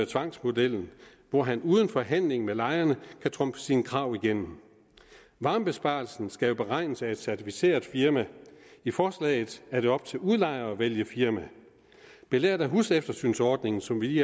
tvangsmodellen hvor han uden forhandling med lejerne kan trumfe sine krav igennem varmebesparelsen skal jo beregnes af et certificeret firma i forslaget er det op til udlejeren at vælge firma belært af huseftersynsordningen som vi